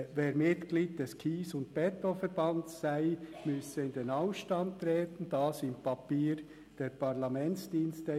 Wer Mitglied des KSE Bern sei, müsse in den Ausstand treten, so im ersten Papier der Parlamentsdienste.